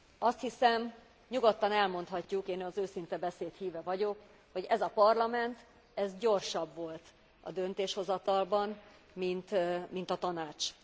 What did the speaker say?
Azt hiszem, nyugodtan elmondhatjuk, én az őszinte beszéd híve vagyok, hogy ez a Parlament ez gyorsabb volt a döntéshozatalban, mint a Tanács.